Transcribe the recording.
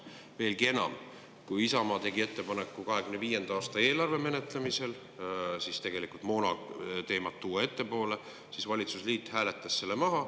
Veelgi enam, kui Isamaa tegi ettepaneku 2025. aasta eelarve menetlemisel tuua moona teema ettepoole, siis valitsusliit hääletas selle maha.